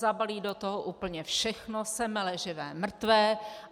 Zabalí do toho úplně všechno, semele živé, mrtvé.